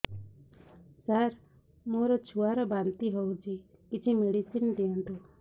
ସାର ମୋର ଛୁଆ ର ବାନ୍ତି ହଉଚି କିଛି ମେଡିସିନ ଦିଅନ୍ତୁ